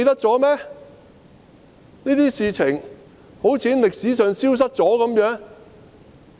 這些事情好像從歷史上消失一樣。